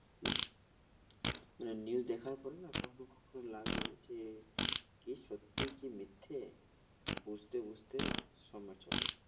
মানে news দেখার পরে না কখনো কখনো লাগে যে কি সত্যি কি মিথ্যে বুঝতে বুঝতে সময় চলে যায়।